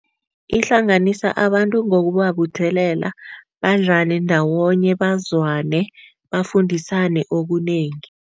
Ihlanganisa abantu ngokubabuthelela badlale ndawonye, bazwane, bafundisane okunengi.